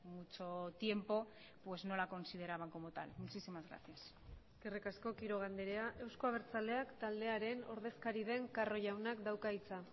mucho tiempo pues no la consideraban como tal muchísimas gracias eskerrik asko quiroga andrea euzko abertzaleak taldearen ordezkari den carro jaunak dauka hitza